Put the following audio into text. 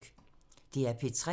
DR P3